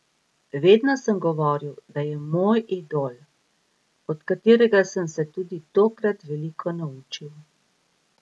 Vedno sem govoril, da je moj idol, od katerega sem se tudi tokrat veliko naučil.